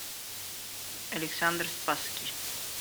александр спасский